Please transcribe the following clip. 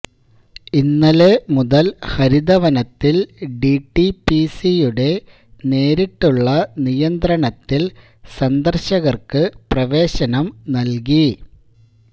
ഇന്നലെ മുതല് ഹരിതവനത്തില് ഡിടിപിസിയുടെ നേരിട്ടുള്ള നിയന്ത്രണത്തില് സന്ദര്ശകര്ക്ക് പ്രവേശനം നല്കി